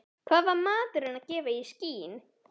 Hvað var maðurinn að gefa í skyn?